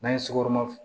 N'an ye sukoro